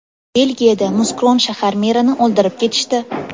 Belgiyada Muskron shahar merini o‘ldirib ketishdi.